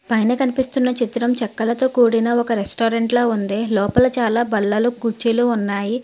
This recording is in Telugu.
పైన కనిపిస్తున్న చిత్రం చెక్కలతో కూడిన ఒక రెస్టారెంట్ లా ఉంది లోపల చాలా బల్లలు కుర్చీలు ఉన్నాయి.